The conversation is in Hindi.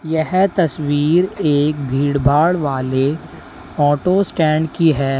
यह तस्वीर एक भीड़भाड़ वाले ऑटो स्टैंड की है।